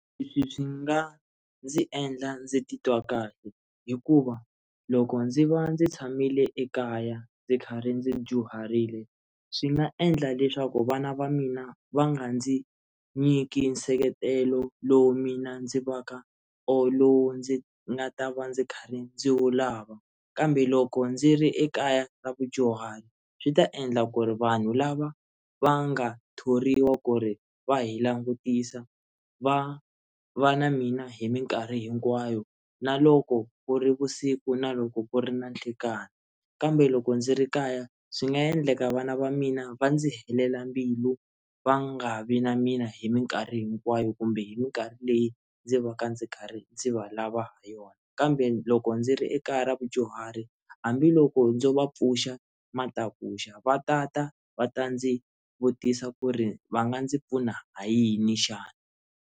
Leswi swi nga ndzi endla ndzi titwa kahle hikuva loko ndzi va ndzi tshamile ekaya ndzi kha ri ndzi dyuharile swi nga endla leswaku vana va mina va nga ndzi nyiki nseketelo lowu mina ndzi va ka or lowu ndzi nga ta va ndzi karhi ndzi wu lava kambe loko ndzi ri ekaya ra vadyuhari swi ta endla ku ri vanhu lava va nga thoriwa ku ri va hi langutisa va va na mina hi mikarhi hinkwayo na loko ku ri vusiku na loko ku ri na nhlekani kambe loko ndzi ri kaya swi nga endleka vana va mina va ndzi helela mbilu va nga vi na mina hi mikarhi hinkwayo kumbe hi mikarhi leyi ndzi va ka ndzi karhi ndzi va lava hi yona kambe loko ndzi ri ekaya ra vadyuhari hambiloko ndzo va pfuxa matakuxa va tata va ta ndzi vutisa ku ri va nga ndzi pfuna ha yini xana?